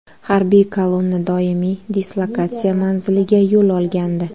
Harbiy kolonna doimiy dislokatsiya manziliga yo‘l olgandi.